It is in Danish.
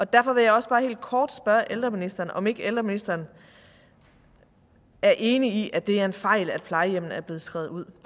derfor vil jeg også bare helt kort spørge ældreministeren om ikke ældreministeren er enig i at det er en fejl at plejehjemmene er blevet skrevet ud